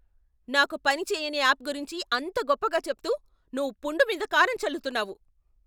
నాకు పని చేయని యాప్ గురించి అంత గొప్పగా చెప్తూ నువ్వు పుండు మీద కారం చల్లుతున్నావు.